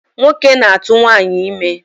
Nwoke na-atụ nwaanyị ime.